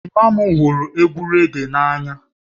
Ejima m hụrụ egwu raggae n'anya